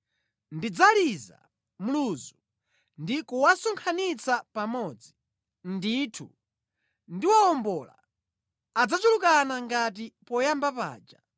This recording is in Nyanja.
Ndidzaliza mluzu ndi kuwasonkhanitsa pamodzi. Ndithu ndawawombola; adzachulukana ngati poyamba paja.